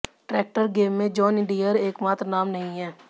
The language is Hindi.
ट्रैक्टर गेम में जॉन डीयर एकमात्र नाम नहीं है